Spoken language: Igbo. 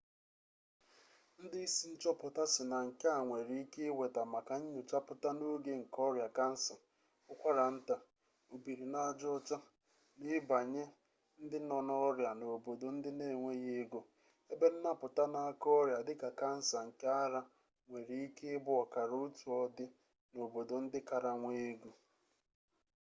ndị isi nchọpụta sị na nke a nwere ike iweta maka nnyochapụta n'oge nke ọrịa kansa ụkwara nta obiri n'aja ọcha na ịba nye ndị nọ n'ọrịa n'obodo ndị n'enweghị ego ebe nnapụta n'aka ọrịa dịka kansa nke ara nwere ike ịbụ ọkara otu ọdị n'obodo ndị kara nwee ego